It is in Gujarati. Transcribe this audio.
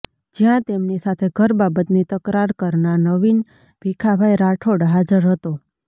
જ્યાં તેમની સાથે ઘર બાબતની તકરાર કરનાર નવીન ભીખાભાઇ રાઠોડ હાજર હતો